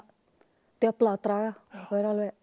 djöfla að draga og er